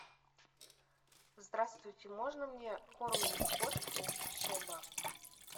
здравствуйте можно мне корм для кошки шеба